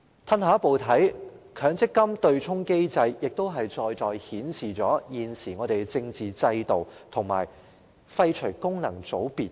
退一步來看，強積金對沖機制在在顯示現行政治制度有必要廢除功能界別。